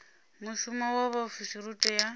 mushumo wa vhaofisiri u tea